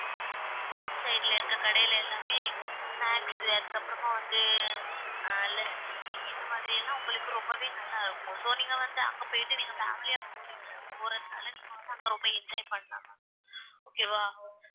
road side ல இருக்க கடையில எல்லாமே snacks அதுக்கப்புறமா வந்து அஹ் lassi இந்த மாதிரி எல்லாம் உங்களுக்கு ரொம்பவே நல்லா இருக்கும் so நீங்க வந்து அங்க போயிட்டு நீங்க family யா போறீங்க போறதுனால நீங்க வந்து அங்க ரொம்ப enjoy பண்ணலாம் ma'am okay வா